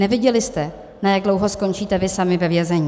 Nevěděli jste, na jak dlouho skončíte vy sami ve vězení.